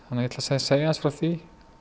segja frá því